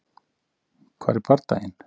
Hvar er bardaginn?